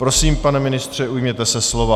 Prosím, pane ministře, ujměte se slova.